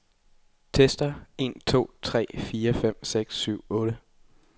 Tester en to tre fire fem seks syv otte.